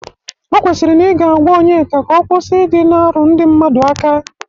O kwesiri na ị ga-agwa Onyeka ka ọ kwụsị ị dị na-arụ ndị mmadụ aka.